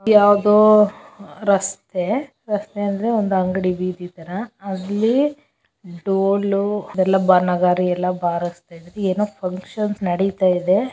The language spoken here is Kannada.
ಯಾವದೋ ರಸ್ತೆ ರಸ್ತೆ ಅಂದರೆ ಒಂದು ಅಂಗಡಿ ಬೀದಿ ತರಹ ಅಲ್ಲಿ ಡೋಲು ಅದೆಲ್ಲಾ ಬಾ ನಗಾರಿಯೆಲ್ಲಾ ಬಾರಿಸ್ತಾ ಇದಾರೆ ಏನೋ ಫುನ್ಕ್ಷನ್ಸ್ ನಡೀತಾಯಿದೆ.